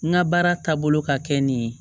N ka baara taabolo ka kɛ nin ye